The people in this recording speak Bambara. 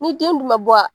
Ni den dun ma bɔ wa